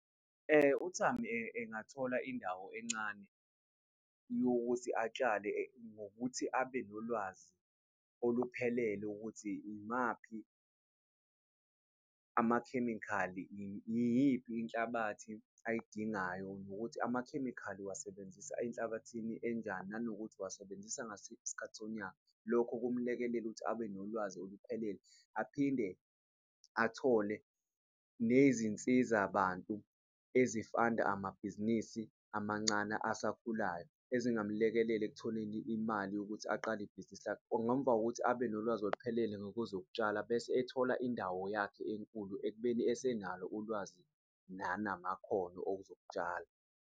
uThami engathola indawo encane yokuthi atshale ngokuthi abe nolwazi oluphelele ukuthi imaphi amakhemikhali, iyiphi inhlabathi ayidingayo nokuthi amakhemikhali uwasebenzisa enhlabathini enjani nanokuthi, uwasebenzisa ngasiphi isikhathi sonyaka. Lokho kumlekelela ukuthi abe nolwazi oluphelele aphinde athole nezinsizabantu ezifanda amabhizinisi amancane asakhulayo ezingamlekelela ekutholeni imali yokuthi aqale ibhizinisi lakhe. Ngomva kokuthi abe nolwazi oluphelele ngakwezokutshala bese ethola indawo yakhe enkulu ekubeni esenalo ulwazi nanamakhono ozok'tshala.